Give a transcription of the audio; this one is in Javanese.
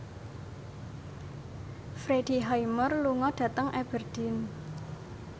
Freddie Highmore lunga dhateng Aberdeen